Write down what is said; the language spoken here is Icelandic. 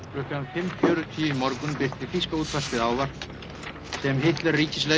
klukkan fimm fjörutíu í morgun birti þýska útvarpið ávarp sem Hitler